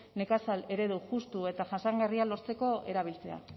nekazal eredu justu eta jasangarria lortzeko erabiltzea